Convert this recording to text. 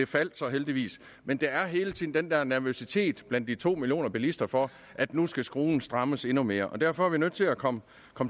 faldt så heldigvis men der er hele tiden den der nervøsitet blandt de to millioner bilister for at nu skal skruen strammes endnu mere derfor er vi nødt til at komme